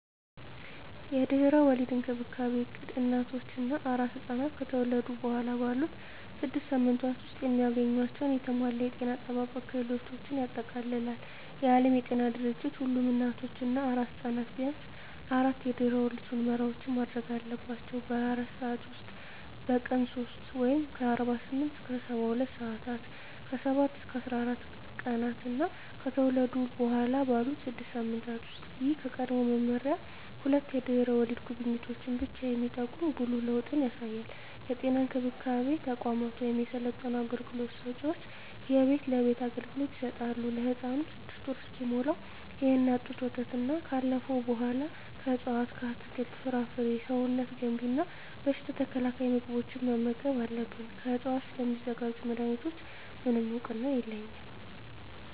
የድህረ ወሊድ እንክብካቤ እቅድ እናቶች እና አራስ ሕፃናት ከተወለዱ በኋላ ባሉት ስድስት ሳምንታት ውስጥ የሚያገኟቸውን የተሟላ የጤና አጠባበቅ አገልግሎቶችን ያጠቃልላል። የዓለም ጤና ድርጅት ሁሉም እናቶች እና አራስ ሕፃናት ቢያንስ አራት የድህረ ወሊድ ምርመራዎችን ማድረግ አለባቸው - በ24 ሰዓት ውስጥ፣ በቀን 3 (48-72 ሰአታት)፣ ከ7-14 ቀናት እና ከተወለዱ በኋላ ባሉት 6 ሳምንታት ውስጥ። ይህ ከቀድሞው መመሪያ ሁለት የድህረ ወሊድ ጉብኝቶችን ብቻ የሚጠቁም ጉልህ ለውጥ ያሳያል። የጤና እንክብካቤ ተቋማት ወይም የሰለጠኑ አገልግሎት ሰጭዎች የቤት ለቤት አገልግሎት ይሰጣሉ። ለህፃኑም 6ወር እስኪሞላው የእናት ጡት ወተትና ካለፈው በኃላ ከእፅዋት አትክልት፣ ፍራፍሬ ሰውነት ገንቢ እና በሽታ ተከላካይ ምግቦችን መመገብ አለብን። ከዕፅዋት ስለሚዘጋጁ መድኃኒቶች፣ ምንም እውቅና የለኝም።